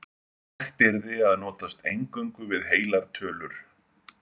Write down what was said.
Hægt yrði að notast eingöngu við heilar tölur.